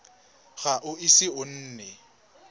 ga o ise o nne